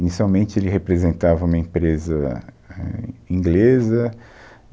Inicialmente, ele representava uma empresa ah inglesa.